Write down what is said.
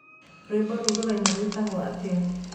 rwĩmbo rũu rũraina rwĩtagwo atĩa